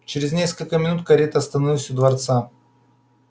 чрез несколько минут карета остановилась у дворца